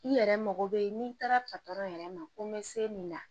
I yɛrɛ mago bɛ n'i taara yɛrɛ ma ko n bɛ se min na